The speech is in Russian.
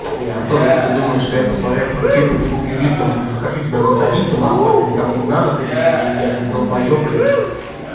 не артур если ты думаешь что я посмотрев этот клип побегу к юристам захочу тебя засадить то нахуй это никому не надо блядь я что я же не долбаёб блядь